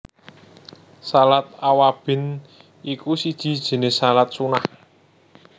Shalat Awwabin iku siji jinis shalat Sunnah